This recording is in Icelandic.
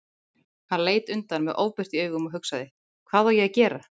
Hann leit undan með ofbirtu í augum og hugsaði: Hvað á ég að gera?